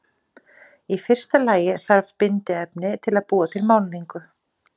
í fyrsta lagi þarf bindiefni til að búa til málningu